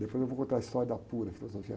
Depois eu vou contar a história da pura, filosofia.